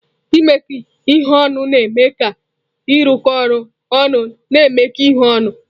Imekọ ihe ọnụ na-eme ka ịrụkọ ọrụ ọnụ na imekọ ihe ọnụ.